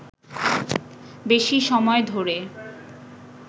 বেশি সময় ধরে